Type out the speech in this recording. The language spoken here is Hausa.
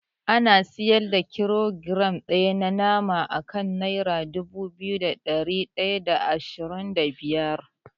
An siyar da kilogiram ɗaya na nama akan nera dubu biyu da ɗari ɗaya da ashirin da biyar.